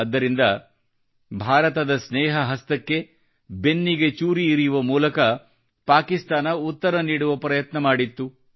ಆದ್ದರಿಂದ ಭಾರತದ ಸ್ನೇಹ ಹಸ್ತಕ್ಕೆ ಬೆನ್ನಿಗೆ ಚೂರಿ ಇರಿಯುವ ಮೂಲಕ ಪಾಕಿಸ್ತಾನ ಉತ್ತರ ನೀಡುವ ಪ್ರಯತ್ನ ಮಾಡಿತ್ತು